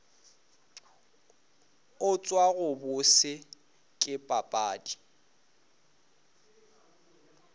utswa go bose ke papadi